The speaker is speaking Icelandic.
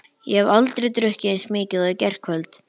Ég hef aldrei drukkið eins mikið og í gærkvöld.